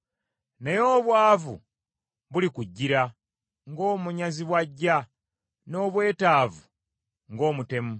obwavu bulikutuukako ng’omutemu, era n’obwetaavu ng’omutemu.